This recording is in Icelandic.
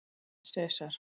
Sesar